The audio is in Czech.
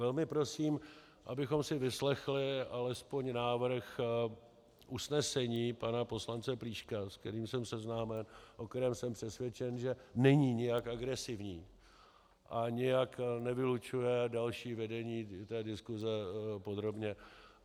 Velmi prosím, abychom si vyslechli alespoň návrh usnesení pana poslance Plíška, s kterým jsem seznámen, o kterém jsem přesvědčen, že není nijak agresivní a nijak nevylučuje další vedení té diskuse podrobně.